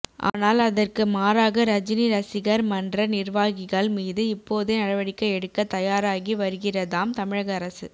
ஆனால் அதற்கு மாறாக ரஜினி ரசிகர் மன்ற நிர்வாகிகள் மீது இப்போதே நடவடிக்கை எடுக்க தயாராகி வருகிறதாம் தமிழக அரசு